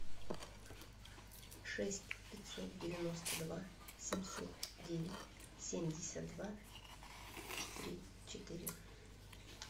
шесть пятьсот девяносто два семьсот девять семьдесят два три четыре